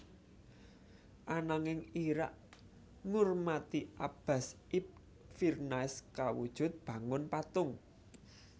Ananging Irak ngurmati Abbas ibn Firnas kawujud bangun patung